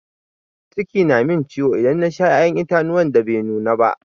Ciki na min ciwo idan na Sha ya'yan itatuwa da Bai nuna ba.